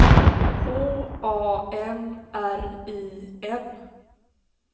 H A M R I N